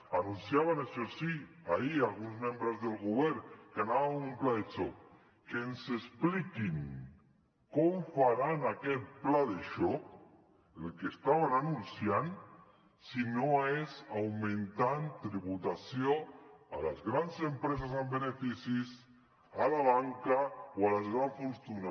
anunciaven això sí ahir alguns membres del govern que anava amb un pla de xoc que ens expliquin com faran aquest pla de xoc el que estaven anunciant si no és augmentant tributació a les grans empreses amb beneficis a la banca o a les grans fortunes